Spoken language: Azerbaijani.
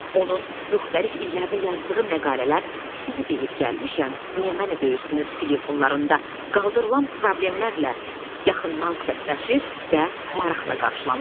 Onun müxtəlif illərdə yazdığı məqalələr "Sizi deyib gəlmişəm", "Niyə məni döyürsünüz?" felyetonlarında qaldırılan problemlərlə yaxından səsləşir və maraqla qarşılanırdı.